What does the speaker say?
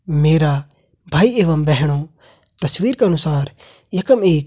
मेरा भाई एवम बहनों तस्वीर का अनुसार यखम एक --